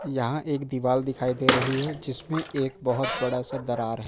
यहां एक दीवाल दिखाई दे रही है जिसमें एक बहुत बड़ा सा दरार है।